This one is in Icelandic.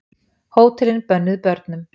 Hótelin bönnuð börnum